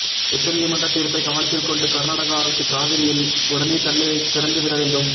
உச்ச நீதிமன்ற தீர்ப்பை கவனத்தில் கொண்டு கர்நாடக அரசு காவிரியில் உடனே தண்ணீர் திறந்துவிட வேண்டும்